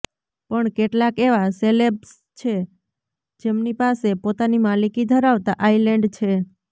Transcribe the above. પણ કેટલાક એવા સેલેબ્સ છે જેમની પાસે પોતાની માલિકી ધરાવતા આઇલેન્ડ છે